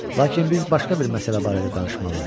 Lakin biz başqa bir məsələ barədə danışmalıyıq.